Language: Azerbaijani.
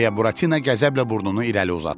deyə Buratina qəzəblə burnunu irəli uzatdı.